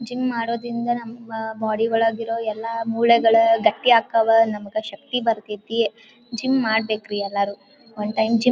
Gym ಮಾಡೋದ್ರಿಂದ ನಮ್ಮ body ಒಳಗಿರೊ ಎಲ್ಲ ಮೂಳೆಗಳೂ ಗಟ್ಟಿ ಅಕ್ಕಾವ ನಮಗ ಶಕ್ತಿ ಬರ್ತೈತಿ. ಜಿಮ್ ಮಾಡ್ಬೇಕ್ರಿ ಎಲ್ಲರು ಒನ್ ಟೈಮ್ ಜಿಮ್ .